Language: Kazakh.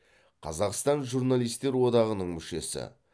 қазақстан журналистер одағының мүшесі